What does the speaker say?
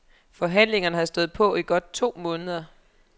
Forhandlingerne har stået på i godt to måneder.